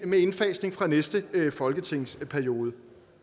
med indfasning fra næste folketingsperiode